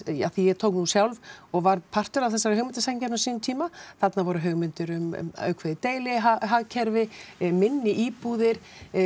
af því ég tók nú sjálf og var partur af þessari hugmyndasamkeppni á sínum tíma þarna voru hugmyndir um ákveðið deilihagkerfi minni íbúðir